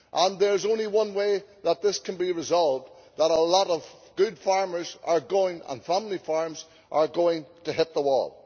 There is only one way that this can be resolved, which is that a lot of good farmers and family farms are going to hit the wall.